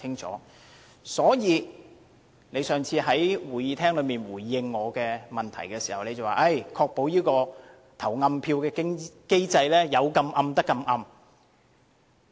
他上次在會議廳內答覆我的質詢時，表示會確保投暗票的機制有效。